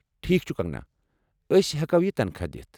ٹھیک چُھ، کنگنا، ٲسۍ ہٮ۪کو یہ تنخواہ دِتھ ۔